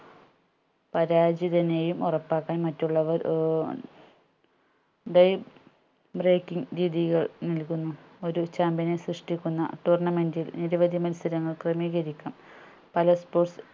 പരാജിതനെയും ഒറപ്പാകാൻ മറ്റുള്ളവർ ഏർ ടെയും breaking രീതികൾ നൽകുന്നു ഒരു champion നെ സൃഷ്ട്ടിക്കുന്ന tournament ഇൽ നിരവധി മത്സരങ്ങൾ ക്രമീകരിക്കാം പല sports